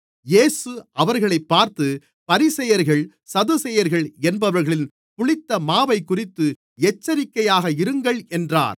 இயேசு அவர்களைப் பார்த்து பரிசேயர்கள் சதுசேயர்கள் என்பவர்களின் புளித்த மாவைக்குறித்து எச்சரிக்கையாக இருங்கள் என்றார்